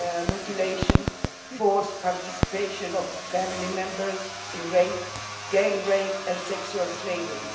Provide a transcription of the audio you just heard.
mutilation, forced participation of family members in rape, gang rape and sexual slavery.